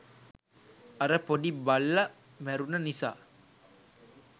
අර පොඩි බල්ල මැරුන නිසා